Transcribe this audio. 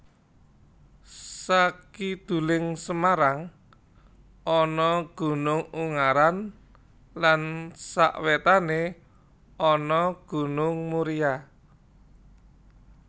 Sakiduling Semarang ana Gunung Ungaran lan sawétané ana Gunung Muria